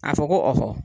A fɔ ko